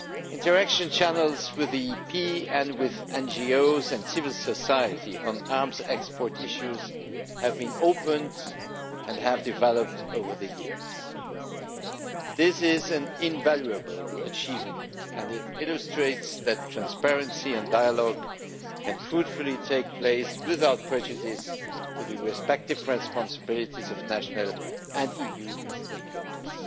Interaction channels with Parliament, and with NGOs and civil society, on arms export issues have been opened and have developed over the years. This is an invaluable achievement, and it illustrates that transparency and dialogue can fruitfully take place without prejudice to the respective responsibilities of national and EU stakeholders.